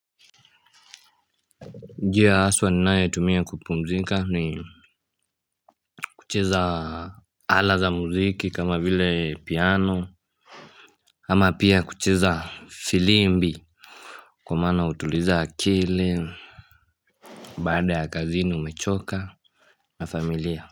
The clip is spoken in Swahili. Njia haswa ninayo tumia kupumzika ni kucheza ala za muziki kama vile piano ama pia kucheza firimbi kwa maana hutuliza akili, baada ya kazini umechoka na familia.